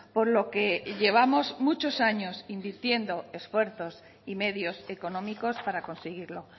por lo que llevamos muchos años invirtiendo esfuerzos y medios económicos para conseguirlo